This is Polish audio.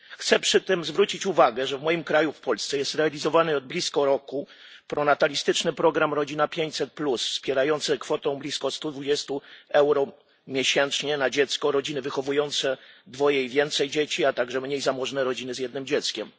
Chcę przy tym zwrócić uwagę, że w moim kraju, w Polsce, jest realizowany od blisko roku pronatalistyczny program Rodzina 500 wspierający kwotą blisko 120 euro miesięcznie na dziecko rodziny wychowujące dwoje i więcej dzieci, a także mniej zamożne rodziny z jednym dzieckiem.